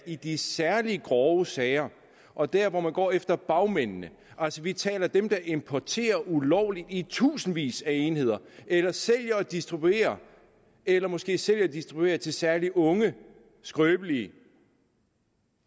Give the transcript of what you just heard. i de særlig grove sager og der hvor man går efter bagmændene altså vi taler om dem der importerer ulovligt i tusindvis af enheder eller sælger og distribuerer eller måske sælger og distribuerer til særlig unge skrøbelige